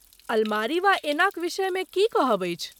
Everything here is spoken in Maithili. अलमारी वा ऐनाक विषयमे की कहब अछि?